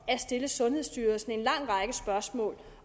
at stille sundhedsstyrelsen en lang række spørgsmål